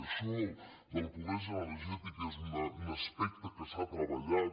això de la pobresa energètica és un aspecte que s’ha treballat